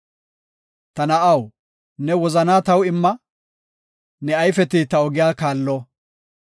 Ta na7aw, ne wozanaa taw imma; ne ayfeti ta ogiya kallo.